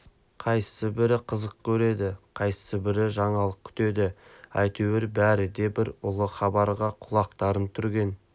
қайсыбірі қызық көреді қайсыбірі жаңалық күтеді әйтеуір бәрі де бір ұлы хабарға құлақтарын түрген